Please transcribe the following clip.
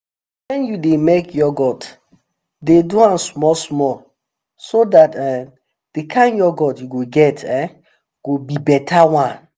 when you dey make yoghurt dey do am small small so dat um the um kind yoghurt you go get um go be better one